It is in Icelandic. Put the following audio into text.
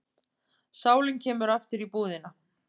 Sálin kemur aftur í íbúðina.